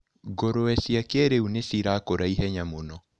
Ngũrũwe cia kĩrĩu nĩcirakũra ihenya mũno.